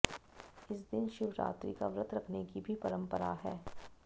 इस दिन शिवरात्रि का व्रत रखने की भी परंपरा है